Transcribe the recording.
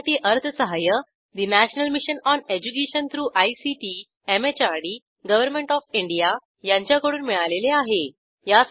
यासाठी अर्थसहाय्य national mission on education through ICT MHRD government of India यांच्याकडून मिळालेले आहे